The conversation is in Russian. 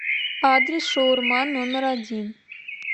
адрес шаурма номер один